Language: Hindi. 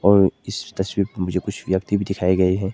और इस तस्वीर में मुझे कुछ व्यक्ति भी दिखाए गए हैं।